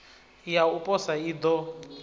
ya u posa i ḓo